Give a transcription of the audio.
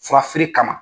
Furafeere kama